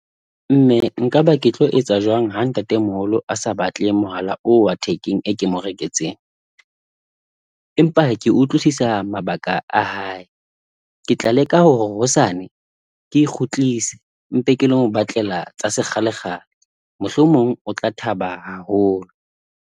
Mme nka ba ke tlo etsa jwang ha ntate moholo a sa batle mohala o wa thekeng e ke mo reketseng? Empa ke utlwisisa mabaka a hae, ke tla leka hore hosane ke e kgutlise mpe, ke le lo mo batlela tsa sekgale kgale mohlomong o tla thaba haholo.